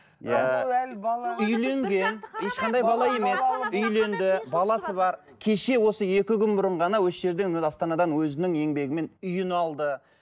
ыыы үйленген ешқандай бала емес үйленді баласы бар кеше осы екі күн бұрын ғана осы жерден астанадан өзінің еңбегімен үйін алды